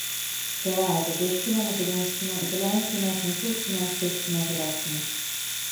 Prevajate grščino, makedonščino, italijanščino, francoščino, srbščino, hrvaščino...